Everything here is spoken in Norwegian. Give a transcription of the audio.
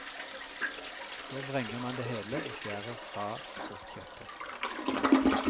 Så vrenger man det hele og skjærer fra fruktkjøttet.